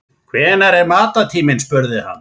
Hvenær er matartíminn spurði hann.